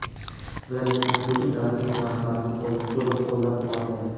Vladimir Putin davlatimiz rahbarini to‘liq qo‘llab-quvvatladi.